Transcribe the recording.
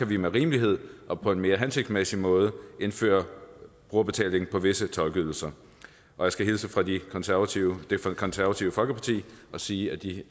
vi med rimelighed og på en mere hensigtsmæssig måde kan indføre brugerbetaling på visse tolkeydelser og jeg skal hilse fra det konservative konservative folkeparti og sige at de